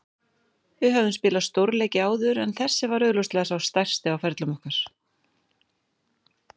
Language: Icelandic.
Við höfðum spilað stórleiki áður en þessi var augljóslega sá stærsti á ferlum okkar.